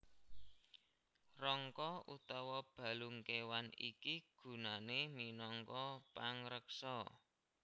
Rangka utawa balung kéwan iki gunané minangka pangreksa